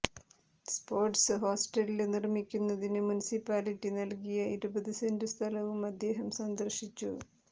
sports hostel നിര്മിക്കുന്നതിന് municipality നല്കിയ ഇരുപതു സെന്റു സ്ഥലവും അദ്ദേഹം സന്ദര്ശിച്ചു